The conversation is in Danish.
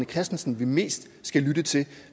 christensen vi mest skal lytte til